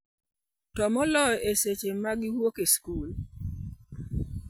To moloyo, e seche ma giwuok e skul.